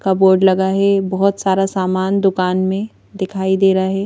का बोर्ड लगा है बहुत सारा सामान दुकान में दिखाई दे रहा है।